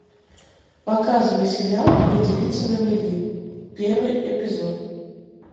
показывай сериал две девицы на мели первый эпизод